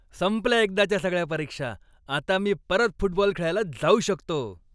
संपल्या एकदाच्या सगळ्या परीक्षा, आता मी परत फुटबॉल खेळायला जाऊ शकतो.